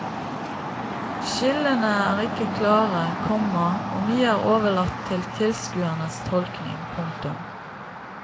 Skillene er ikke klare, komma og mye er overlatt til tilskuerens tolkning. punktum